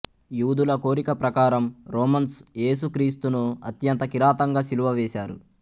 యూదుల కోరిక ప్రకారం రోమన్స్ ఏసు క్రీస్తును అత్యంత కిరాతకంగా శిలువ వేశారు